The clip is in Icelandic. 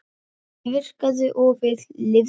Þetta virkaði og við lifðum.